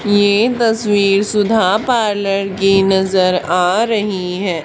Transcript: ये तस्वीर सुधा पार्लर की नजर आ रही है।